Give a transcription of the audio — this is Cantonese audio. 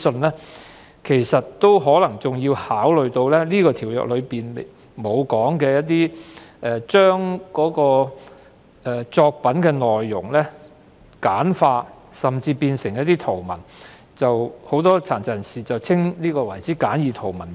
此外，政府應考慮《條例草案》未有提及的情況，將作品內容簡化甚至圖文化，即殘疾人士所指的簡易圖文版。